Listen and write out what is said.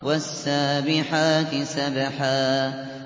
وَالسَّابِحَاتِ سَبْحًا